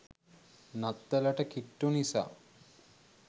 නත්තලට කිට්ටු නිසා